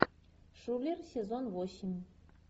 шулер сезон восемь